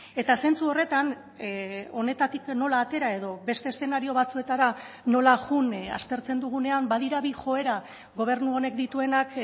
eta zentzu horretan honetatik nola atera edo beste eszenario batzuetara nola joan aztertzen dugunean badira bi joera gobernu honek dituenak